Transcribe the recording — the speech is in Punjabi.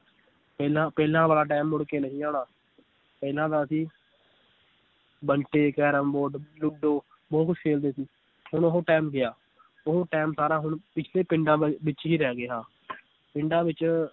ਪਹਿਲਾਂ ਪਹਿਲਾਂ ਵਾਲਾ time ਮੁੜ ਕੇ ਨਹੀਂ ਆਉਣਾ ਪਹਿਲਾਂ ਤਾਂ ਅਸੀ ਬੰਟੇ, ਕੈਰਮ ਬੋਰਡ, ਲੁਡੋ ਬਹੁਤ ਕੁਛ ਖੇਲਦੇ ਸੀ ਹੁਣ ਉਹ time ਗਿਆ ਉਹ time ਸਾਰਾ ਹੁਣ ਪਿੱਛੜੇ ਪਿੰਡਾਂ ਵੱਲ, ਵਿਚ ਹੀ ਰਹਿ ਗਿਆ ਪਿੰਡਾਂ ਵਿਚ